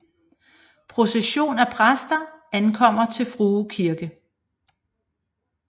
Procession af præster ankommer til Frue Kirke